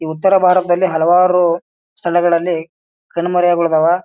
ಈ ಉತ್ತರ ಭಾರತದಲ್ಲಿ ಹಲವಾರು ಸ್ಥಳಗಳಲ್ಲಿ ಕಣ್ಮರೆಯಾಗಿ ಬಿಟ್ಟಿದ್ದವ.